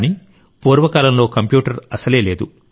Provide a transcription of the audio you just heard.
కాని పూర్వ కాలంలో కంప్యూటర్ అసలే లేదు